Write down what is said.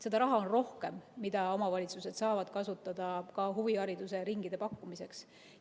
Seda raha on rohkem, mida omavalitsused saavad kasutada ka huviringide pakkumiseks.